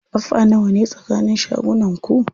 Ƙafa nawane tsakanin shagunan ku?